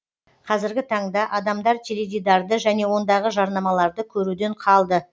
қазіргі таңда адамдар теледидарды және ондағы жарнамаларды көруден қалды